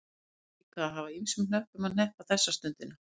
Hún hlaut líka að hafa ýmsum hnöppum að hneppa þessa stundina.